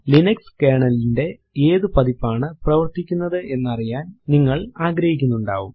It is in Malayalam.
ലിനക്സ് കെർണൽ ലിന്റെ ഏതു പതിപ്പാണ് പ്രവർത്തിക്കുന്നത് എന്നറിയാൻ നിങ്ങൾ ആഗ്രഹിക്കുന്നുണ്ടാവും